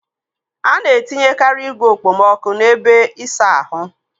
Ana etinyekari igwe okpomọkụ n'ebe ịsa ahụ.